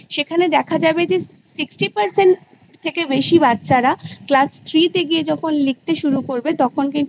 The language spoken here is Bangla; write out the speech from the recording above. সেখানে দেখা যাবে যে Sixty Percent থেকে বেশি বাচ্ছারা Class Three তে গিয়ে যখন লিখতে শুরু করবে তখন কিন্তু